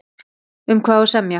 Um hvað á að semja?